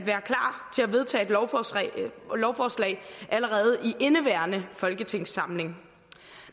vedtage et lovforslag allerede i indeværende folketingssamling